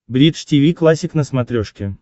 бридж тиви классик на смотрешке